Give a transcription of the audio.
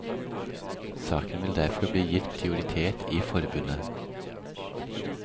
Saken vil derfor bli gitt prioritet i forbundet.